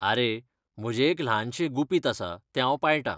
आरे, म्हजें एक ल्हानशें गुपीत आसा तें हांव पाळटां.